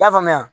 I y'a faamuya